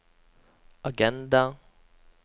agenda